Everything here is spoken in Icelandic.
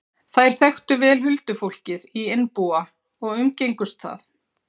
Þær þekktu vel huldufólkið í Einbúa og umgengust það.